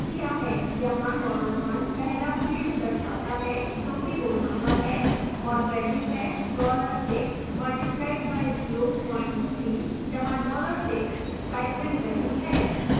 यहाँ dollar 1 पहला field दर्शाता है जो कि roll number है और वेल्यू है dollar 6 multiplied by zero point 3 जहाँ dollar six स्टाइपेंड वेल्यू है